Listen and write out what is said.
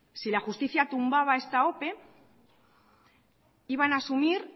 si la justicia tumbaba esta ope iban a asumir